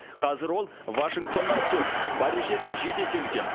қазір ол вашингтоннан төрт парижден жеті есе үлкен